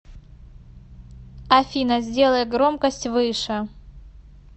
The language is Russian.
афина сделай громкость выше